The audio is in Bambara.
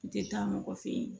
N tɛ taa mɔgɔ fɛ ye